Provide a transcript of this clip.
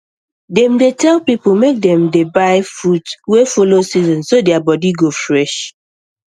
dem dey tell people make dem dey buy fruit wey follow season so their body go fresh